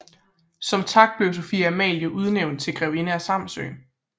Som tak blev Sophie Amalie udnævnt til grevinde af Samsø